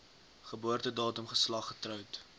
geboortedatum geslag getroud